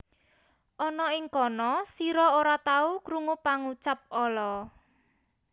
Ana ing kono sira ora tahu krungu pangucap ala